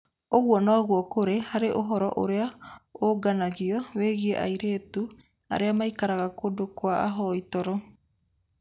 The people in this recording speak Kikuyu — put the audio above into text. Ũguo noguo kũrĩ harĩ ũhoro ũrĩa ũũnganagio wĩgiĩ airĩtu arĩa maikaraga kũndũ kwa ahoi toro.